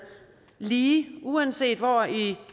lige uanset hvor i